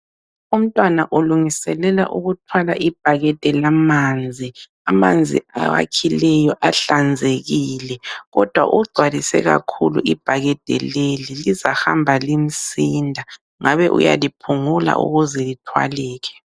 Umntwana ulungiselela ukuthwala ibhakede lamanzi. Amanzi awakhileyo ahlanzekile, kodwa ugcwalise kakhulu ibhakede leli lizahamba limsinda ngabe uyaliphungula ukuze lithwaleke.